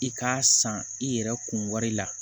I k'a san i yɛrɛ kun wari la